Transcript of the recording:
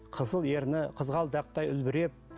қызыл ерні қызғалдақтай үлбіреп